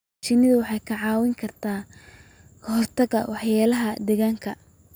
Shinnidu waxay kaa caawin kartaa ka hortagga waxyeelada deegaanka.